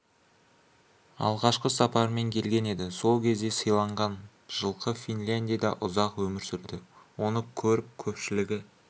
алғашқы сапарымен келген еді сол кезде сыйланған жылқы финляндияда ұзақ өмір сүрді оны көріп көпшілігі